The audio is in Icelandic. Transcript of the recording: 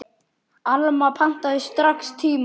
Alma pantaði strax tíma.